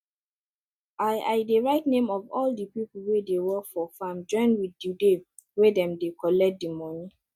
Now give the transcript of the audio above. i i dey write name of all di people wey dey work for farm join with di day wey dem dey collect di moni